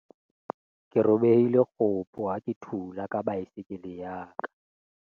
ke robehile kgopo ha ke thula ka baesekele ya ka